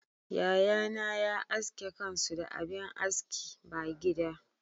Yayana ya aske kansu da abin aski ba gida.